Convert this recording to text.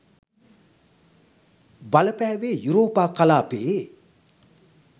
බලපෑවේ යුරෝපා කලාපයේ